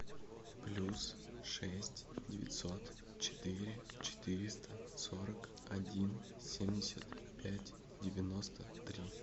плюс шесть девятьсот четыре четыреста сорок один семьдесят пять девяносто три